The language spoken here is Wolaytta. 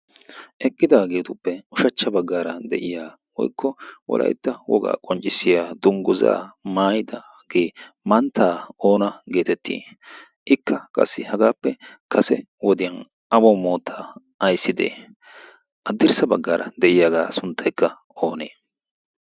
eqqidaageetuppe ushachcha baggaara de7iya woikko walaitta wogaa qonccissiya dungguzaa maayida gee manttaa oona geetettii ikka qassi hagaappe kase wodiyan awo moota aissidee addirssa baggaara de7iyaagaa suntteekka oonee